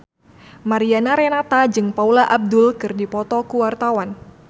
Mariana Renata jeung Paula Abdul keur dipoto ku wartawan